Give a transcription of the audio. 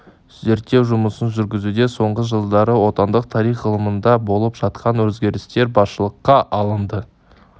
зерттеу жұмысын жүргізуде соңғы жылдары отандық тарих ғылымында болып жатқан өзгерістер басшылыққа алынды